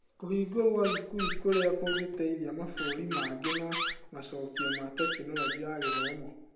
Kũhingwo gwa thukuru kũrĩa kũngĩteithia mabũrũri mangĩ na macokio ma tekinoronjĩ ya gĩthomo.